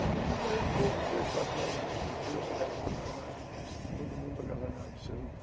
E daí a pouco, três, quatro anos depois, já estava todo mundo agasalhado do seu lugar.